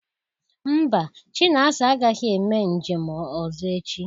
Mba, Chinasa agaghị eme njem ọzọ echi